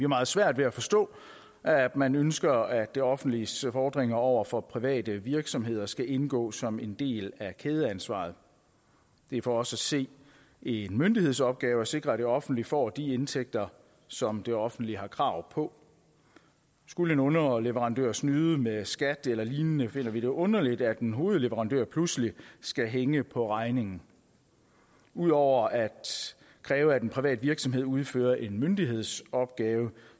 meget svært ved at forstå at man ønsker at det offentliges fordringer over for private virksomheder skal indgå som en del af kædeansvaret det er for os at se en myndighedsopgave at sikre at det offentlige får de indtægter som det offentlige har krav på skulle en underleverandør snyde med skat eller lignende finder vi det underligt at en hovedleverandør pludselig skal hænge på regningen ud over at kræve at en privat virksomhed udfører en myndighedsopgave